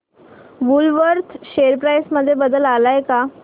Woolworth share price मध्ये बदल आलाय का